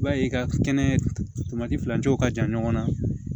I b'a ye i ka kɛnɛ filancɛw ka jan ɲɔgɔn na